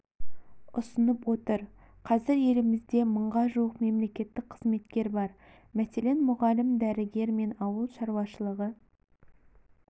ұсынып отыр қазір елімізде мыңға жуық мемлекеттік қызметкер бар мәселен мұғалім дәрігер мен ауыл шаруашылығы